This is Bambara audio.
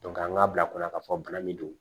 an k'a bila kunna k'a fɔ bana min don